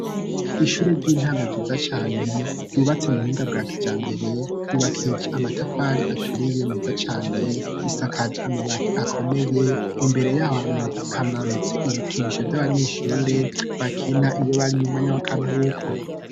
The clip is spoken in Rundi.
Ishure ry'intango ryiza cane, ryubatse mu buhinga bwa kijambere ryubakijwe amatafari aturiye neza cane, isakaje amabati akomeye imbere yaho hamanitse ibikinisho vy'abanyeshure bakina iyo bari mu mwanya w'akaruhuko.